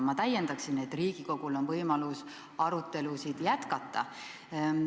Ma täiendaksin, et Riigikogul on võimalus arutelusid jätkata.